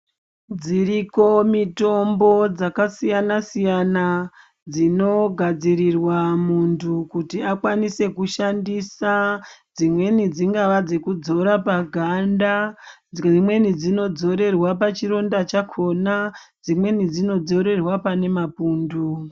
Dziriko mitombo dzakasiyana siyana dzinogadzirirwa muntu kuti akwanise kushandisa dzimweni dzingava dzinorapa ganda dzimweni dzinodzorerwa pachironda chakona dzimweni dzinodzorerwa pane mapundu.